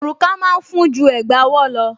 Òrùka máa ń fún ju Ẹ̀gbá ọwọ́ lọ